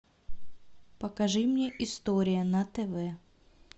покажи мне история на тв